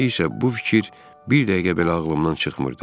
İndi isə bu fikir bir dəqiqə belə ağlımdan çıxmırdı.